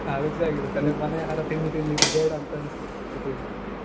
Allergy ಅಗಿರುತ್ತೆ ಮನೆ ಆಹಾರ ತಿಂದು ತಿಂದು ಇದು ಬೇಡಾ ಅಂತಾ ಅನ್ನಸಿಬಿಟ್ಟಿರುತ್ತೆ ಸ್ವಲ್ಪ ದಿನಾ ಆದ್ಮೇಲೆ.